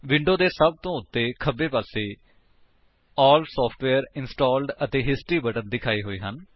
window ਦੇ ਸਭ ਤੋਂ ਉੱਤੇ ਖੱਬੇ ਪਾਸੇ ਏਐਲਐਲ ਸਾਫਟਵੇਅਰ ਇੰਸਟਾਲਡ ਅਤੇ ਹਿਸਟਰੀ ਬਟਨ ਦਿਖਾਏ ਹੋਏ ਹਨ